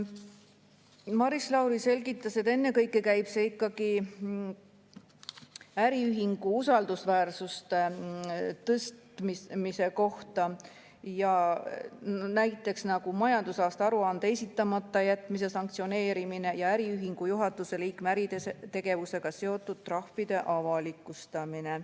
Maris Lauri selgitas, et ennekõike käib see ikkagi äriühingu usaldusväärsuse tõstmise kohta, näiteks majandusaasta aruande esitamata jätmise sanktsioneerimine ja äriühingu juhatuse liikme äritegevusega seotud trahvide avalikustamine.